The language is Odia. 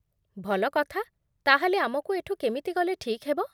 ଭଲ କଥା । ତା'ହେଲେ ଆମକୁ ଏଠୁ କେମିତି ଗଲେ ଠିକ୍ ହେବ?